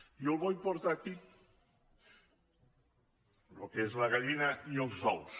jo vull portar aquí el que és la gallina i els ous